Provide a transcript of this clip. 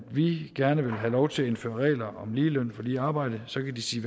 vi gerne vil have lov til at indføre regler om ligeløn for lige arbejde så kan de sige